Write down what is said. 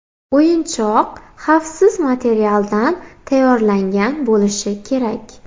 O‘yinchoq xavfsiz materialdan tayyorlangan bo‘lishi kerak.